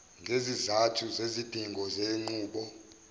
ngezizathu zezidingo zenqubo